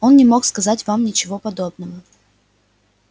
он не мог сказать вам ничего подобного